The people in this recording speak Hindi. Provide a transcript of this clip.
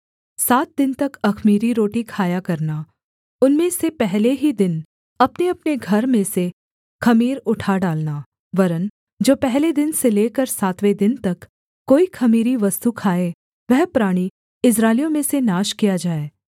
सात दिन तक अख़मीरी रोटी खाया करना उनमें से पहले ही दिन अपनेअपने घर में से ख़मीर उठा डालना वरन् जो पहले दिन से लेकर सातवें दिन तक कोई ख़मीरी वस्तु खाए वह प्राणी इस्राएलियों में से नाश किया जाए